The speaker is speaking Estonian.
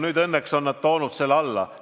Nüüd on nad õnneks selle alla toonud.